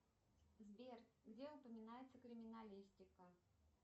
сбер где упоминается криминалистика